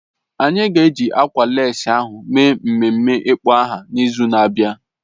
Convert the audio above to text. Anyị ga-eji ákwà lécí ahụ mee ememe ịkpọ aha n'izu na-abịa